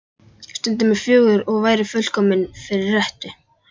Stundin er fögur og væri fullkomin fyrir rettu.